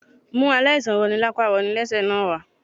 Mú aláìsàn roni lapa roni lẹ́sẹ̀ náà wá